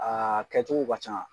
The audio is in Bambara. A kɛcogo ba can.